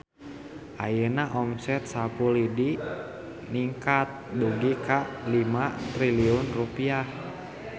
Ayeuna omset Sapu Lidi ningkat dugi ka 5 triliun rupiah